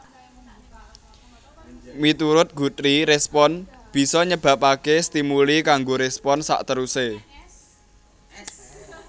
Miturut Guthrie respons bisa nyebabaké stimuli kanggo respons sakterusé